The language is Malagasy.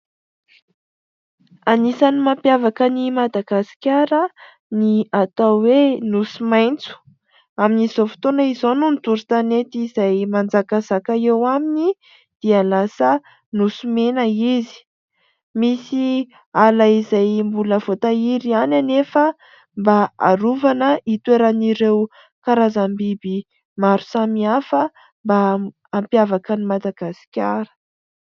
Anisan'ny mampiavaka ny Madagasikara ny atao hoe nosy maintso, amin'izao fotoana izao noho ny doro tanety izay manjakazaka eo aminy dia lasa nosy mena izy. Misy ala izay mbola voa tahiry ihany anefa mba arovana hitoeran'ireo karazam biby maro samy hafa mba hampiavaka ny Madagasikara.